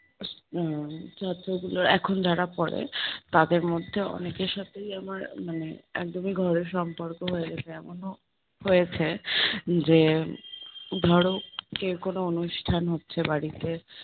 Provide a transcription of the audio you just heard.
উম ছাত্রগুলো এখন যারা পড়ে, তাদের মধ্যে অনেকের সাথেই আমার মানে একদমই ঘরের সম্পর্ক হয়ে গেছে, এমনও হয়েছে যে ধরো কেউ কোনো অনুষ্ঠান হচ্ছে বাড়িতে